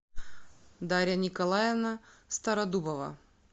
дарья николаевна стародубова